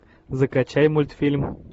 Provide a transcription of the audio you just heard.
закачай мультфильм